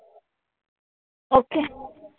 Okay.